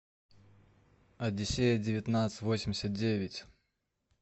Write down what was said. одиссея девятнадцать восемьдесят девять